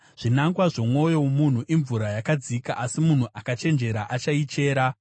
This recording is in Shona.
Zvinangwa zvomwoyo womunhu imvura yakadzika, asi munhu akachenjera achaichera.